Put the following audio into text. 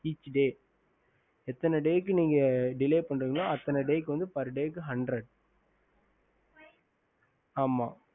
ஹம்